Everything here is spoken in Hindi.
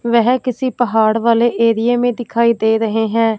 वह किसी पहाड़ वाले एरिये में दिखाई दे रहे हैं।